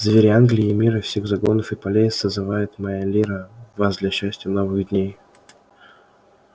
звери англии и мира всех загонов и полей созывает моя лира вас для счастья новых дней